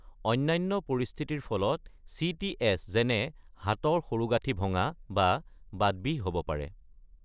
অন্যান্য পৰিস্থিতিৰ ফলত চিটিএছ যেনে হাতৰ সৰু গাঁঠি ভঙা বা বাতবিষ হ'ব পাৰে।